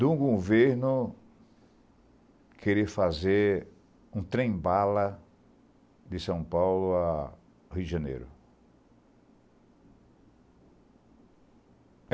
Do governo querer fazer um trem-bala de São Paulo a Rio de Janeiro.